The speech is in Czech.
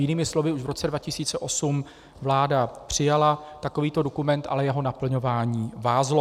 Jinými slovy, už v roce 2008 vláda přijala takovýto dokument, ale jeho naplňování vázlo.